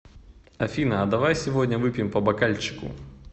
афина а давай сегодня выпьем по бокальчику